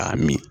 K'a min